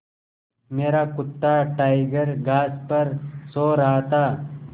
मेरा कुत्ता टाइगर घास पर सो रहा था